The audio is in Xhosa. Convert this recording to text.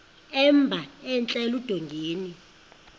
emba entla eludongeni